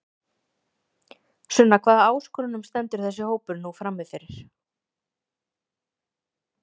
Sunna hvaða áskorunum stendur þessi hópur nú frammi fyrir?